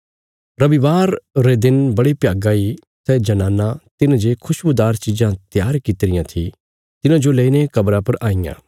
रबिवार रे दिन बड़े भ्यागा इ सै जनानां तिन्हे जे खुशबुदार चिज़ां त्यार किति रियां थी तिन्हाजो लेईने कब्रा पर आईयां